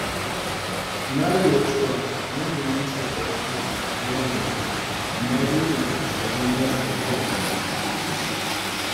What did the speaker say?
Na lura cewa yin zumunci a wurin aiki yana da kyau, amma dole ne ya zamana yana da iyaka.